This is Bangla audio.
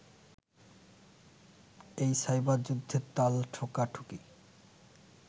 এই সাইবার-যুদ্ধের তাল ঠোকাঠুকি